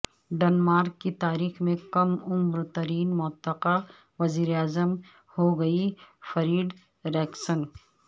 Denmark کی تاریخ میں کم عمر ترین متوقع وزیر اعظم ہوں گی فریڈریکسن